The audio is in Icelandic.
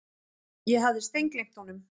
Ég hafði steingleymt honum.